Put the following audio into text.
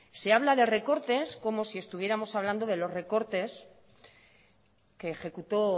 se habla de recortes como si estuviéramos hablando de los recortes que ejecutó